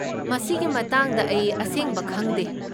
ꯃꯁꯤꯒꯤ ꯃꯇꯥꯡꯗ ꯑꯩ ꯑꯁꯦꯡꯕ ꯈꯪꯗꯦ꯫